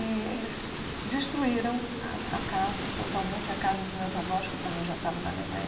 E eles destruíram a a casa, totalmente a casa dos meus avós, que também já estavam na Alemanha.